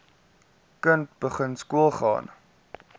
kind begin skoolgaan